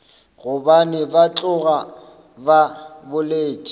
gobane ba tloga ba boletše